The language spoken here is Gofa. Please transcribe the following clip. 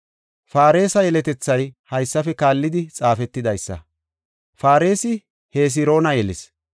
Faaresa yeletethay haysafe kaallidi xaafetidaysa; Faaresi Hesroona yelis;